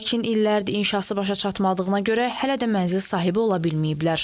Lakin illərdir inşası başa çatmadığına görə hələ də mənzil sahibi ola bilməyiblər.